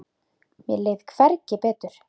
Mér leið hvergi betur.